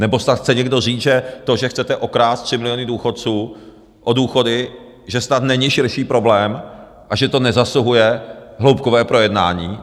Nebo snad chce někdo říct, že to, že chcete okrást 3 miliony důchodců o důchody, že snad není širší problém a že to nezasluhuje hloubkové projednání?